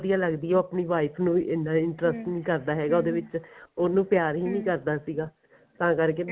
ਵਧੀਆ ਲੱਗਦੀ ਐ ਉਹ ਆਪਣੀ wife ਨੂੰ ਇੰਨਾ ਨੀ ਕਰਦਾ ਹੈਗਾ ਵਿੱਚ ਉਹਨੂੰ ਪਿਆਰ ਕਰਦਾ ਸੀਗਾ ਤਾਂ ਕਰਕੇ